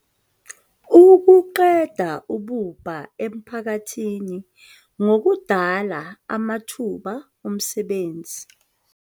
ukuqeda ububha emiphakathini ngokudala amathuba omsebenzi.